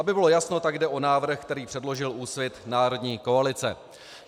Aby bylo jasno, tak jde o návrh, který předložil Úsvit - Národní koalice.